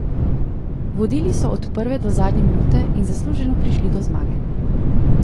Vodili so od prve do zadnje minute in zasluženo prišli do zmage.